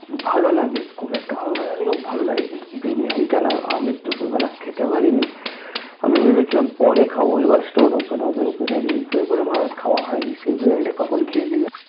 ভালো লাগে খুব একটা ভালো না লাগলেও ভালো লাগে কিন্তু বিরিয়ানিটা না আমি দুপুর বেলা খেতে পারিনি আমি ভেবেছিলাম পরে খাবো এবার Storeopen হবে Open হবে এই করে করে আমার খাওয়া হয়নি বিরিয়ানি টা কখন খেয়েছি জানো